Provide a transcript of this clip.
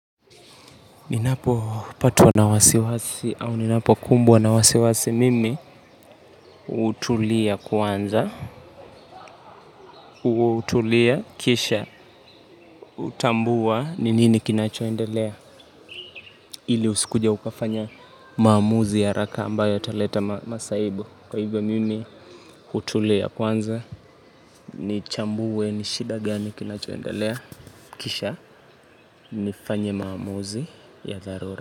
Ninapopatwa na wasiwasi au ninapokumbwa na wasiwasi mimi hutulia kwanza hutulia kisha hutambua ni nini kinachoendelea. Ili usikuje ukafanya maamuzi ya haraka ambayo yataleta masaibu. Kwa hivyo mimi hutulia kwanza ni chambue ni shida gani kinachoendelea. Kisha nifanye maamuzi ya dharura.